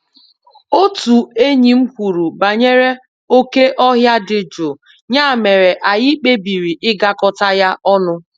Otu enyi m kwuru banyere oké ọhịa dị jụụ, ya mere anyị kpebiri ịgakọta ya ọnụ